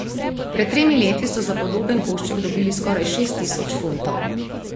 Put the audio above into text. Pred tremi leti so za podoben košček dobili skoraj šest tisoč funtov.